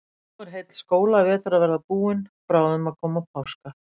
Nú er heill skólavetur að verða búinn, bráðum að koma páskar.